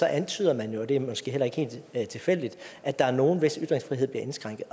antyder man jo og det er måske heller ikke helt tilfældigt at der er nogle hvis ytringsfrihed bliver indskrænket